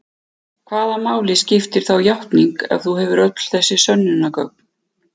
Hvaða máli skiptir þá játning ef þú hefur öll þessi sönnunargögn?